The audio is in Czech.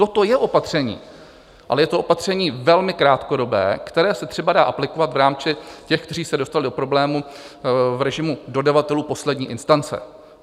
Toto je opatření, ale je to opatření velmi krátkodobé, které se třeba dá aplikovat v rámci těch, kteří se dostali do problémů v režimu dodavatelů poslední instance.